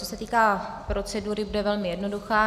Co se týká procedury, bude velmi jednoduchá.